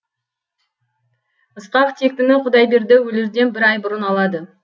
ысқақ тектіні құдайберді өлерден бір ай бұрын алады